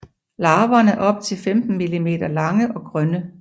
Larverne er op til 15 mm lange og grønne